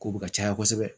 K'u bɛ ka caya kosɛbɛ